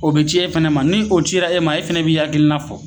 O bi ci e fɛnɛ ma ni o cira e ma e fɛnɛ b'i hakilina fɔ